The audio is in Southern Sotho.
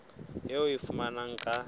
eo o e fumanang ha